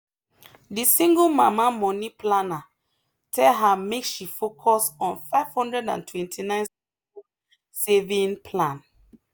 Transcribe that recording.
the single mama money planner tell her make she focus on 529 school saving plan.